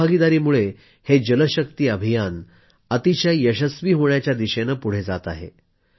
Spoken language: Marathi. जन भागीदारीमुळे हे जल शक्ती अभियान अतिशय यशस्वी होण्याच्या दिशेने पुढं जात आहे